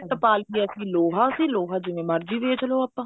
ਟਪਾ ਲਈਏ ਅਸੀਂ ਲੋਹਾ ਅਸੀਂ ਲੋਹਾ ਜਿਵੇਂ ਮਰਜ਼ੀ ਵੇਚ੍ਲੋ ਆਪਾਂ